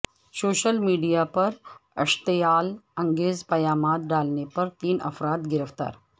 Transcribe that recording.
social media پر اشتعال انگیز پیامات ڈالنے پر تین افراد گرفتار